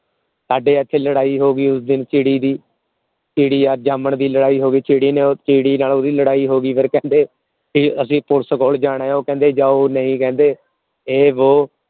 ਸਾਡੇ ਇਥੇ ਲੜਾਈ ਹੋ ਗਈ ਉਸ ਦਿਨ ਚਿੜੀ ਦੀ ਚਿੜੀ ਰ ਜਾਮਣ ਦੀ ਲੜਾਈ ਹੋ ਗਈ ਚਿੜੀ ਨੇ ਚਿੜੀ ਨਾਲ ਓਹਦੀ ਲੜਾਈ ਹੋ ਗਈ ਫੇਰ ਕਹਿੰਦੇ ਅਸੀਂ ਪੁਲਸ ਕੋਲ ਜਾਣਾ ਹੈ ਉਹ ਕਹਿੰਦੇ ਜਾਓ ਨਹੀਂ ਕਹਿੰਦੇ ਏ ਵੋ